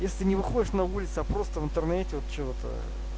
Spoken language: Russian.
если не выходишь на улицу а просто в интернете вот что-то